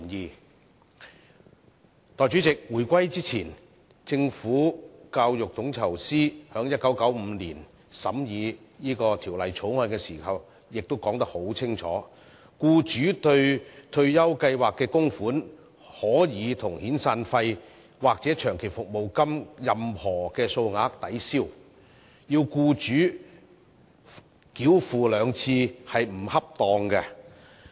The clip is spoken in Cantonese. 代理主席，回歸前，教育統籌司在1995年審議《強制性公積金計劃條例草案》時已清楚說出，"僱主對退休計劃的供款可與遣散費或長期服務金的任何數額抵銷，所以要僱主繳款兩次是不恰當的"。